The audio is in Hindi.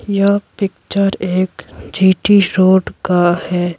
यह पिक्चर एक जीटी रोड का है।